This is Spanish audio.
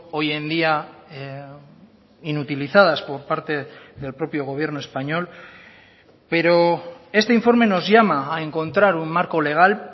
hoy en día inutilizadas por parte del propio gobierno español pero este informe nos llama a encontrar un marco legal